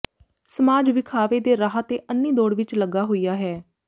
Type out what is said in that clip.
ਸਮਾਜ ਵਿਖਾਵੇ ਦੇ ਰਾਹ ਤੇ ਅੰਨੀ ਦੌੜ ਵਿੱਚ ਲੱਗਾ ਹੋਇਆ ਹੈ